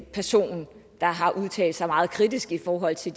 person der har udtalt sig meget kritisk i forhold til